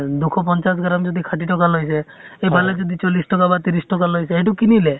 দুশ পঞ্চাছ gram যদি ষাঠি টকা লৈছে, এফালে যদি চল্লিছ টকা বা ত্ৰিছ টকা লৈছে, সেই টো কিনিলে।